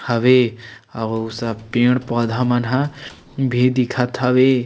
हवे और ऊ सब पेड़ पौधा मन ह भी दिखत हवे ।--